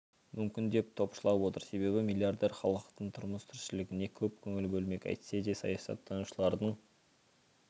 мүмкін деп топшылап отыр себебі миллиардер халықтың тұрмыс тіршілігіне көп көңіл бөлмек әйтсе де саясаттанушылардың